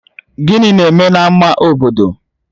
Gịnị na-eme na ama obodo?